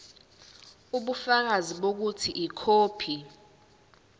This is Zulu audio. ubufakazi bokuthi ikhophi